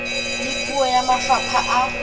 le puo ya mafapha a